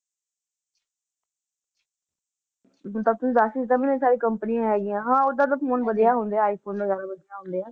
ਤਾਂ ਤੁਸੀਂ ਦੱਸ ਹੀ ਦਿੱਤਾ ਮੈਨੂੰ ਸਾਰੀ ਕੰਪਨੀਆਂ ਹੈਗੀਆਂ ਹਾਂ ਓਦਾਂ ਤਾਂ phone ਵਧੀਆ ਹੁੰਦੇ ਆ, ਆਈਫ਼ੋਨ ਵਗ਼ੈਰਾ ਵਧੀਆ ਹੁੰਦੇ ਆ,